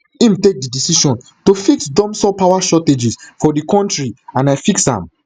im take di decision to fix dumsor power shortages for di kontri and i fix am